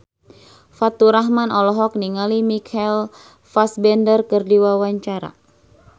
Faturrahman olohok ningali Michael Fassbender keur diwawancara